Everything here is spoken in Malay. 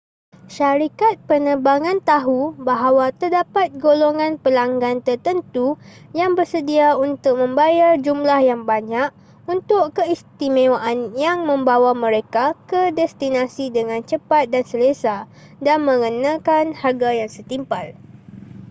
syarikat penerbangan tahu bahawa terdapat golongan pelanggan tertentu yang bersedia untuk membayar jumlah yang banyak untuk keistimewaan yang membawa mereka ke destinasi dengan cepat dan selesa dan mengenakan harga yang setimpal